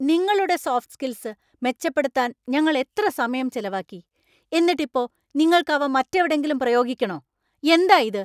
നിങ്ങളുടെ soft skills മെച്ചപ്പെടുത്താൻ ഞങ്ങൾ എത്ര സമയം ചെലവാക്കി, എന്നിട്ടിപ്പോ നിങ്ങൾക്ക് അവ മറ്റെവിടെങ്കിലും പ്രയോഗിക്കണോ? എന്താ ഇത്!